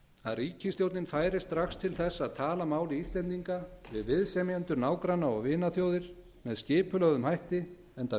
að ríkisstjórnin færi strax til þess að tala máli íslendinga við viðsemjendur nágranna og vinaþjóðir með skipulögðum hætti enda